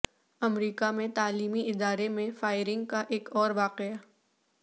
امریکہ میں تعلیمی ادارے میں فائرنگ کا ایک اور واقع